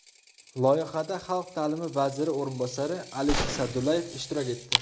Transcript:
Loyihada Xalq ta’limi vaziri o‘rinbosari Alisher Sa’dullayev ishtirok etdi.